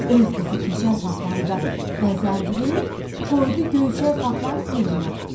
Öz qızı Keçəl Fatmanı da bəzəndirib qoydu Göyçək Fatmanın yerinə.